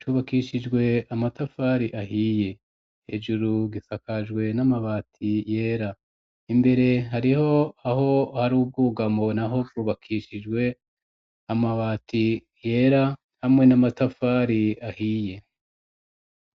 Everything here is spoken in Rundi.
cubakishijwe amatafari ahiye, hejuru gisakajwe n'amabati yera, imbere hariho aho hari ubwugamo naho bwubakishijwe amabati yera hamwe n'amatafari ahiye.